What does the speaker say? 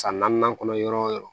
San naaninan kɔnɔ yɔrɔ o yɔrɔ